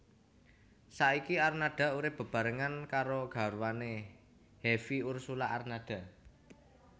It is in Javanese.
Saiki Arnada urip bebarengan karo garwane Hevie Ursulla Arnada